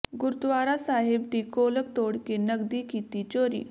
ਗੁਰਦੁਆਰਾ ਸਾਹਿਬ ਦੀ ਗੋਲਕ ਤੋੜ ਕੇ ਨਕਦੀ ਕੀਤੀ ਚੋਰੀ